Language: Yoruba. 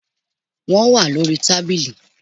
Wọ́n wá lórí tábìlì